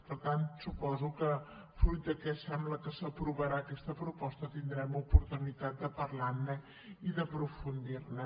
per tant suposo que fruit que sembla que s’aprovarà aquesta proposta tindrem oportunitat de parlarne i d’aprofundirhi